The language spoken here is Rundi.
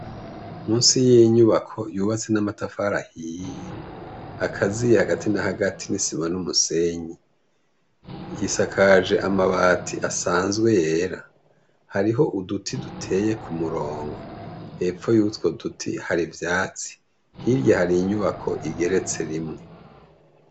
Musi y'inyubako yubatse n'amatafara ahiye akaziye hagati na hagati n'i siba n'umusenyi isakaje amabati asanzwe yera hariho uduti duteye ku murongo hepfo yutwa uduti hari vyatsi hirya hari inyubako igeretse rimwe.